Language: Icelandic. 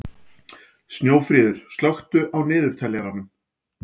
Snjófríður, slökktu á niðurteljaranum.